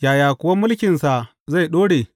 Yaya kuwa mulkinsa zai ɗore?